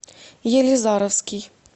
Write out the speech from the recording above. елизаровский